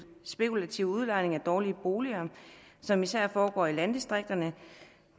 spekulative udlejning af dårlige boliger som især foregår i landdistrikterne